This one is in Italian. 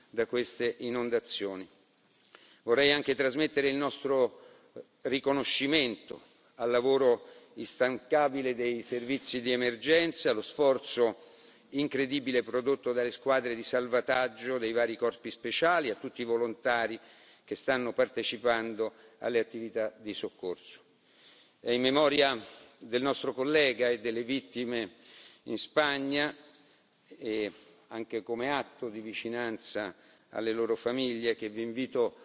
da queste inondazioni. Vorrei anche trasmettere il nostro riconoscimento al lavoro instancabile dei servizi di emergenza, allo sforzo incredibile prodotto dalle squadre di salvataggio dei vari corpi speciali e a tutti i volontari che stanno partecipando alle attività di soccorso. È in memoria del nostro collega e delle vittime in Spagna, anche come atto di vicinanza alle loro famiglie, che vi invito